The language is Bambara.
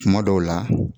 Kuma dɔw la